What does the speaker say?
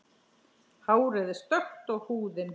Hárið er stökkt og húðin.